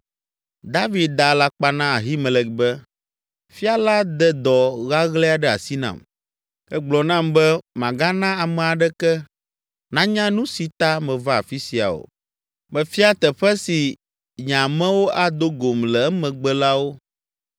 David da alakpa na Ahimelek be, “Fia la de dɔ ɣaɣlɛ aɖe asi nam. Egblɔ nam be magana ame aɖeke nanya nu si ta meva afi sia o. Mefia teƒe si nye amewo ado gom le emegbe la wo.